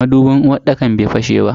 Madubin uwarɗakar bai fashe ba.